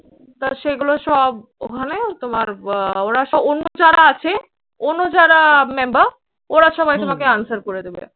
তা সেগুলো সব ওখানে তোমার আহ ওরা সব অন্য যারা আছে অন্য যারা member ওরা সবাই তোমাকে answer করে দেবে।